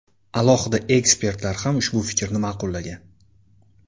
Alohida ekspertlar ham ushbu fikrni ma’qullagan .